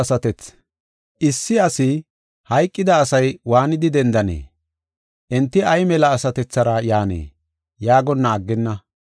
Issi asi, “Hayqida asay waanidi dendanee? Enti ay mela asatethara yaanee?” yaagonna aggenna.